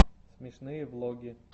смешные влоги